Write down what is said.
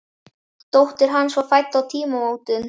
Dóttir hans var fædd á tímamótum.